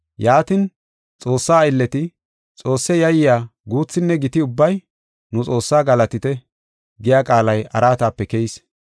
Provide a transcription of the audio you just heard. Yaatin, “Xoossa aylleti, Xoosse yayiya guuthinne giti ubbay, nu Xoossaa galatite” giya qaalay araatape keyis.